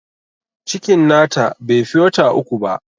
Cikin na ta bai fi wata uku ba